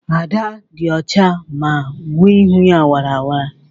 Ada dị ọcha ma nwe ihu wara wara